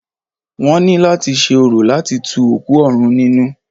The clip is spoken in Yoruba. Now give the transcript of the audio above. Wọ́n ní láti ṣe orò láti tu òkú òrun nínú.